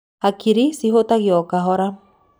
Hakiri cihutagio o kahora.